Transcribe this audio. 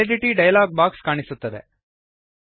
validity dialog box ಕಾಣಿಸುತ್ತದೆ